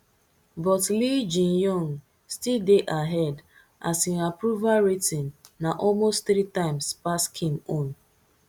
but lee jaemyung still dey ahead as im approval rating na almost three times pass kim own